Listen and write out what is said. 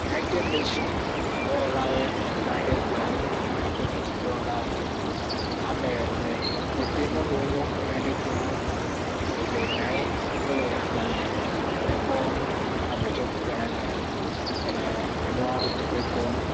Yunaɛtɛd Neshiŋ dɔwɔlawɔɛ, wonɔ anyi ɖe kplɔ̃ ŋu. Yunaɛtɛd Neshiŋ dɔwɔla amee ne, wo pete nyɔnu wonyo, wonɔ anyi ɖe kplɔ̃ ŋu. Eve na anyi, wole agbalẽme kpɔ. Ya ve tsɛ tsitre ɖa anyi le ɛɛ enuɔ teƒe kpɔɔ.